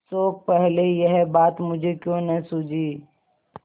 शोक पहले यह बात मुझे क्यों न सूझी